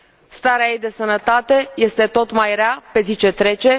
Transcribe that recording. Starea ei de sănătate este tot mai rea pe zi ce trece!